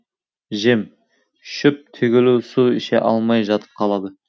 жем шөп түгілі су іше алмай жатып қалады